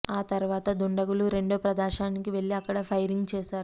ఆ తర్వాత దుండగులు రెండో ప్రదేశానికి వెళ్లి అక్కడా ఫైరింగ్ చేశారు